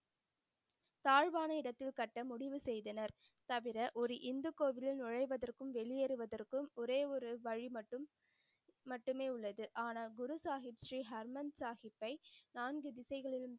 தாழ்வான இடத்தில் கட்ட முடிவு செய்தனர். தவிர ஒரு இந்து கோவில்லில் நுழைவதற்கும் வெளியேறுவதற்கும் ஒரே ஒரு வழி மட்டும் மட்டுமே உள்ளது. ஆனால் குரு சாஹிப் ஸ்ரீ ஹர்மந்திர் சாஹிப்பை நான்கு திசைகள்,